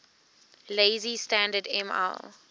lazy standard ml